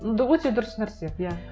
өте дұрыс нәрсе иә